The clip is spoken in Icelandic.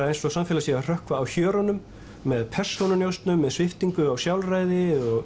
eins og samfélagið sé að hrökkva af hjörunum með persónunjósnum með sviptingu á sjálfræði og